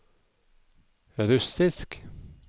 russisk